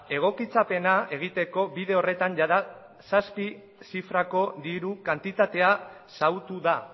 egokitzapena egiteko bide horretan jada zazpi zifrako diru kantitatea xahutu da